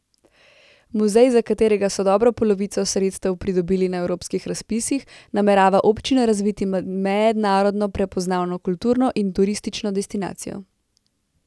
Muzej, za katerega so dobro polovico sredstev pridobili na evropskih razpisih, namerava občina razviti v mednarodno prepoznavno kulturno in turistično destinacijo.